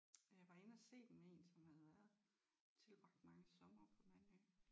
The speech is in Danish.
Øh var inde at se den med en som havde været tilbragt mange somre på Mandø